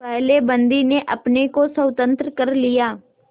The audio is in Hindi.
पहले बंदी ने अपने को स्वतंत्र कर लिया